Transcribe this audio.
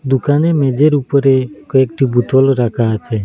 দোকানে মেঝের উপরে কয়েকটি বোতল রাখা আছে।